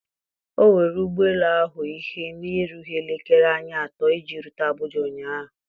O were ụgbọ elu ahụ ihe na-erughị elekere anya atọ iji rute Abuja ụnyahụ.